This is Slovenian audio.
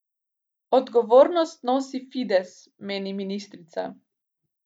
Odgovornost nosi Fides, meni ministrica.